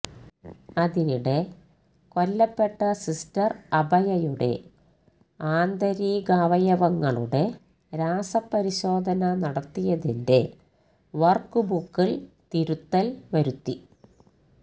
അതിനിടെ കൊല്ലപ്പെട്ട സിസ്റ്റര് അഭയയുടെ ആന്തരികാവയവങ്ങളുടെ രാസപരിശോധന നടത്തിയതിന്റെ വര്ക്ക്ബുക്കില് തിരുത്തല് വരുത്തി